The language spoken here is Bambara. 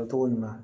Kɛ cogo ɲuman